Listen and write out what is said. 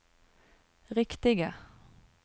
riktige